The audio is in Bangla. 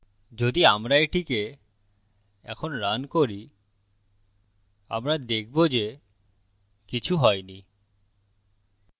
যদি আমরা এটিকে এখন রান করি আমরা দেখবো যে কিছু হয়নি